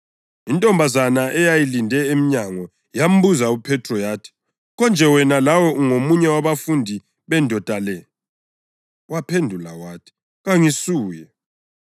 Intombazana eyayilinde emnyango yambuza uPhethro yathi, “Konje wena lawe ungomunye wabafundi bendoda le?” Waphendula wathi, “Kangisuye.”